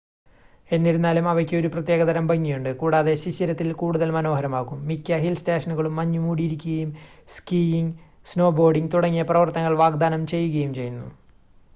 എന്നിരുന്നാലും അവയ്ക്ക് ഒരു പ്രത്യേകതരം ഭംഗിയുണ്ട് കൂടാതെ ശിശിരത്തിൽ കൂടുതൽ മനോഹരമാകും മിക്ക ഹിൽ സ്റ്റേഷനുകളും മഞ്ഞുമൂടിയിരിക്കുകയും സ്കീയിംഗ് സ്നോബോർഡിംഗ് തുടങ്ങിയ പ്രവർത്തനങ്ങൾ വാഗ്ദാനം ചെയ്യുകയും ചെയ്യുന്നു